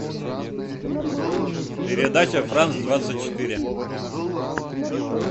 передача франц двадцать четыре